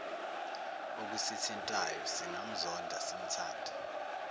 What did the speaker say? okusithintayo singamzonda simthande